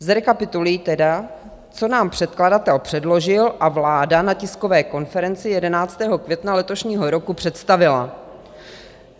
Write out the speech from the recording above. Zrekapituluji tedy, co nám předkladatel předložil a vláda na tiskové konferenci 11. května letošního roku představila.